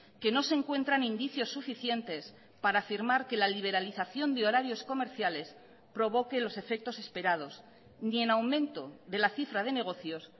que no se encuentran indicios suficientes para afirmar que la liberalización de horarios comerciales provoque los efectos esperados ni en aumento de la cifra de negocios